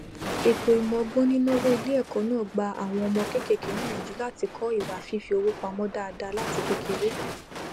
ètò ìmọ ọgbọnínàwó iléẹkọ náà gba àwọn ọmọ kéékèèké níyànjú láti kọ ìwà fífi owó pamọ dáadáa láti kékeré